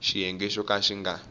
xiyenge xo ka xi nga